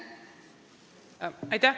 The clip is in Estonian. Aitäh!